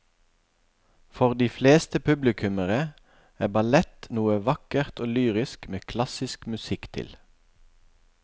For de fleste publikummere er ballett noe vakkert og lyrisk med klassisk musikk til.